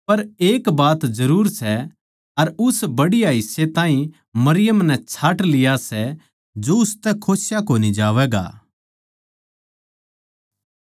पर एक बात जरुर सै अर उस बढ़िया हिस्से ताहीं मरियम नै छाँट लिया सै जो उसतै खोस्या कोनी जावैगा